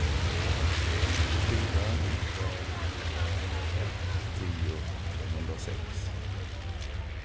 fyra tre tre ett tio trehundrasex